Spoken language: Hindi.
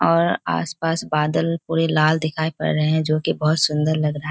और आसपास बादल पूरे लाल दिखाई पड़ रहे हैं जोकि बोहोत सुंदर लग रहा है।